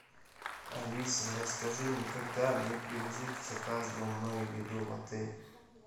алиса расскажи мне когда мне привезут заказанную мной еду в отель